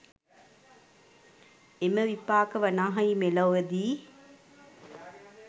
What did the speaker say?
එම විපාක වනාහි මෙලොවදී